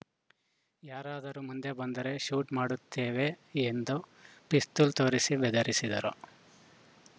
ಯಾರಾದರೂ ಮುಂದೆ ಬಂದರೆ ಶೂಟ್‌ ಮಾಡುತ್ತೇವೆ ಎಂದು ಪಿಸ್ತೂಲ್‌ ತೋರಿಸಿ ಬೆದರಿಸಿದರು